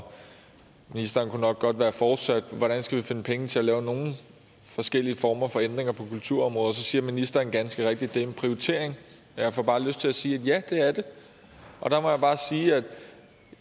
ministeren kunne nok godt være fortsat med hvordan skal vi finde penge til at lave nogen forskellige former for ændringer på kulturområdet så siger ministeren ganske rigtigt at det er en prioritering og jeg får bare lyst til at sige at ja det er det der må jeg bare sige at